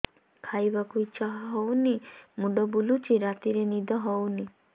ଖାଇବାକୁ ଇଛା ହଉନି ମୁଣ୍ଡ ବୁଲୁଚି ରାତିରେ ନିଦ ହଉନି